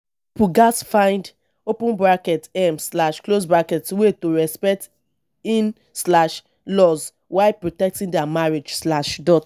pipo gatz find um way to respect in-laws while protecting their marriage.